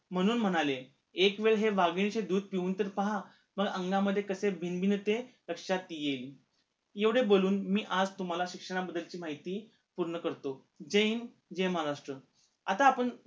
म्हणून म्हणाले एक वेळ हे वाघीनेचे दूध पिऊन तर पहा मग अंगामध्ये कसे बिनबिनते तर लक्षात येईल एवढे बोलून मी आज तुम्हाला शिक्षणा बद्दलची माहिती पूर्ण करतो जय हिंद जय महाराष्ट्र आत्ता आपण